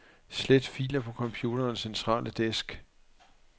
Slet filer på computerens centrale disk.